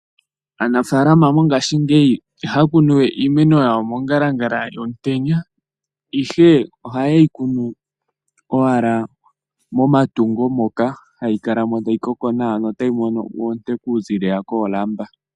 Aanafaalama mongashingeyi ihaya kunu we iimeno yawo mongalangala yomutenya, ihe ohaye yi kunu owala momatungo moka hayi kala mo tayi koko nawa notayi mono oonte okuziilila koolamba.